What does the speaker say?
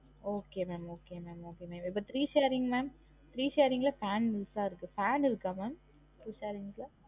Okay mam okay mam okay இப்ப three sharing mam ல three sharing ல fan loose ஆ இருக்கு fan இருக்கா mam? three sharings ல